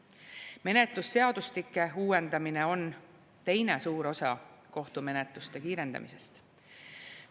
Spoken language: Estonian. Menetlusseadustike uuendamine on teine suur osa kohtumenetluste kiirendamisest.